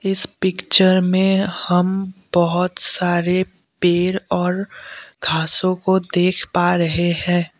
इस पिक्चर में हम बहोत सारे पेड़ और घासो को देख पा रहे हैं।